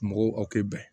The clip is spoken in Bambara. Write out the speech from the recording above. Mɔgɔw aw tɛ bɛn